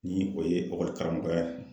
Ni o ye ekɔli karamɔgɔya ye